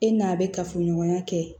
E n'a bɛ kafoɲɔgɔnya kɛ